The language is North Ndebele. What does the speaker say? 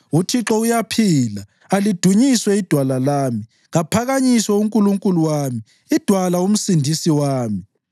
UThixo uyaphila! Alidunyiswe iDwala lami! Kaphakanyiswe uNkulunkulu wami, iDwala, uMsindisi wami!